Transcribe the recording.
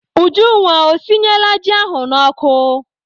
Ujunwa, o sinyela ji ahụ n'ọkụ?